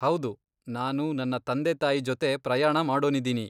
ಹೌದು, ನಾನು ನನ್ನ ತಂದೆ ತಾಯಿ ಜೊತೆ ಪ್ರಯಾಣ ಮಾಡೋನಿದೀನಿ.